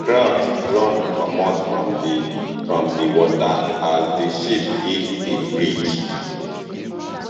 crowds run comot from di from di water as di ship hit di bridge